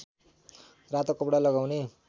रातो कपडा लगाउने